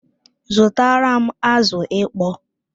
Zutaram azụ ịkpọ!